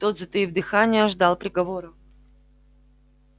тот затаив дыхание ждал приговора